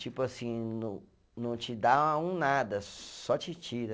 Tipo assim, não não te dá um nada, só te tira.